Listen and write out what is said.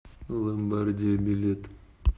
ломбардиа билет